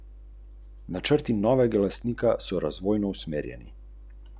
Ampak je prav, da se bodo zadeve zbistrile.